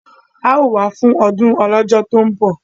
A ó wà fún ọdún Ọlọ́jọ́ tó ń bọ̀!